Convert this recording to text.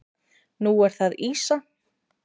Nú er það ýsa.